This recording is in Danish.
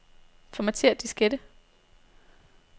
Formatér diskette.